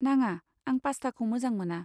नाङा, आं पास्टाखौ मोजां मोना।